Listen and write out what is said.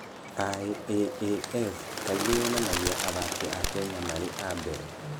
IAAF kaingĩ yonanagia athaki a Kenya marĩ a mbere.